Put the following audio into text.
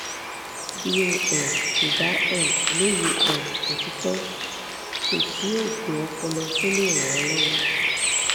bí o um kò bá um lóye um òtítọ́ kò sí oògùn ọpọlọ tó lè ràn ọ́ lọ́wọ́